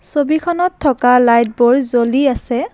ছবিখনত থকা লাইট বোৰ জ্বলি আছে।